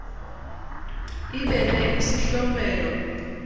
ibe ne isihlomelo